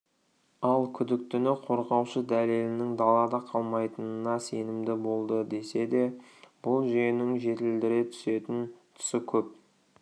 ал күдіктіні қорғаушы дәлелінің далада қалмайтынына сенімді болды десе де бұл жүйенің жетілдіре түсетін тұсы көп